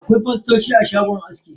Akwai fostoci a shagon aski.